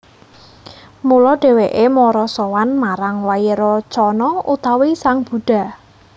Mula dhèwèké mara sowan marang Wairocana utawi sang Buddha